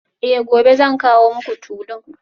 Eh gobe zan kawo muku tulun